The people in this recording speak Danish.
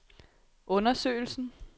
undersøgelsen